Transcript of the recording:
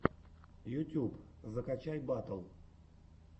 ютьюб закачай батл